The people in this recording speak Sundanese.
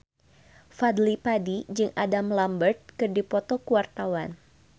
Fadly Padi jeung Adam Lambert keur dipoto ku wartawan